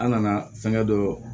An nana fɛngɛ dɔ